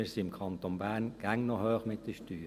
Wir sind im Kanton Bern immer noch hoch mit den Steuern.